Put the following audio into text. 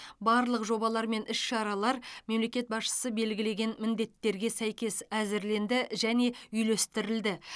барлық жобалар мен іс шаралар мемлекет басшысы белгілеген міндеттерге сәйкес әзірленді және үйлестірілді